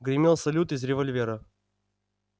гремел салют из револьвера